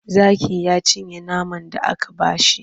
Zakin ya cinye naman da aka ba shi.